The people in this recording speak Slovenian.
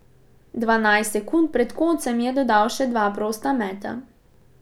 Dvanajst sekund pred koncem je dodal še dva prosta meta.